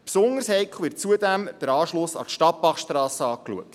Als besonders heikel wird zudem der Anschluss an die Stadtbachstrasse erachtet.